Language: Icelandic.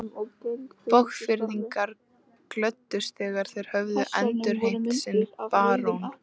Borgfirðingar glöddust þegar þeir höfðu endurheimt sinn barón.